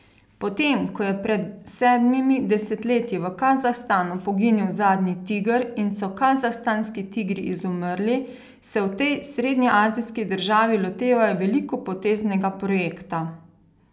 Po tem ko je pred sedmimi desetletji v Kazahstanu poginil zadnji tiger in so kazahstanski tigri izumrli, se v tej srednjeazijski državi lotevajo velikopoteznega projekta.